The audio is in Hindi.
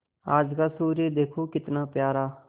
आज का सूर्य देखो कितना प्यारा